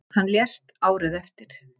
Hann lést árið eftir.